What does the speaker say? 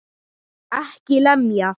EKKI LEMJA!